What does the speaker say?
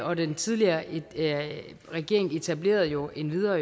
og den tidligere regering etablerede jo endvidere